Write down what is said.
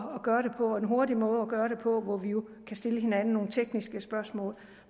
hurtig måde at gøre det på hvor vi jo kan stille hinanden nogle tekniske spørgsmål